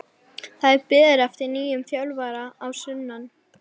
Það er beðið eftir nýjum þjálfara að sunnan.